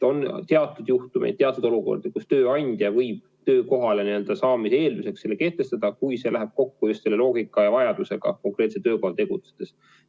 On teatud juhtumeid, teatud olukordi, kus tööandja võib töökohale saamise eelduseks selle kehtestada, kui see läheb kokku töö loogikaga ja vajadusega konkreetsel töökohal tegutsedes.